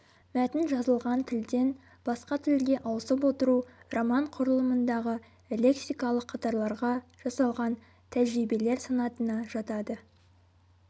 мәтін жазылған тілден басқа тілге ауысып отыру роман құрылымындағы лексикалық қатарларға жасалған тәжірибелер санатына жатады